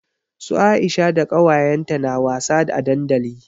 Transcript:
Su Aisha da kawayenta na wasa a dandali.